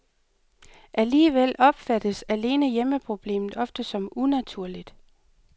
Alligevel opfattes alene hjemmeproblemet ofte som unaturligt.